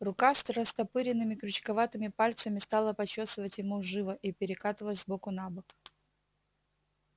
рука с растопыренными крючковатыми пальцами стала почёсывать ему живо и перекатывать с боку на бок